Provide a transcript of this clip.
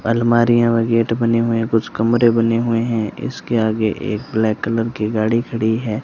अलमारियां व गेट बने हुए हैं कुछ कमरे बने हुए है इसके आगे एक ब्लैक कलर की गाड़ी खड़ी है।